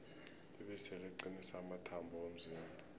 ibisi liqinisa amathambo womzimba